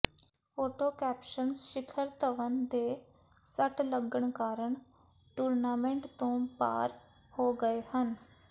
photo caption Shikhar Dhawan ਦੇ ਸੱਟ ਲੱਗਣ ਕਾਰਨ ਟੂਰਨਾਮੈਂਟ ਤੋਂ ਬਾਹਰ ਹੋ ਗਏ ਹਨ